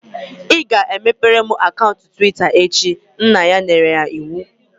"Ị ga-emebere m akaụntụ Twitta echi" nna ya nyere iwu